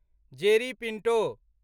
Jerry Pinto